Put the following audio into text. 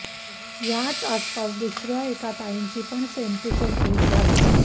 याच आसपास दुसर्या एका ताईंची पण श्येम टू श्येम केस झाली